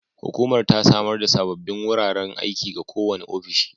Hukumar ta samar da sabbin wuraren aiki ga kowane ofishi